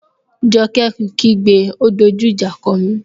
Joke kí gbé,'O dojú ìjà kọ mí!